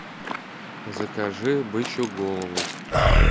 закажи бычью голову